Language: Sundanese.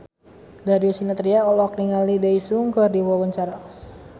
Darius Sinathrya olohok ningali Daesung keur diwawancara